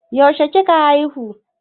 yaushe kika haihu?